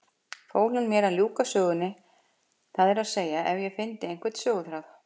Fól hann mér að ljúka sögunni, það er að segja ef ég fyndi einhvern söguþráð.